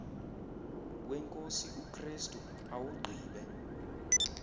wenkosi ukrestu awugqibe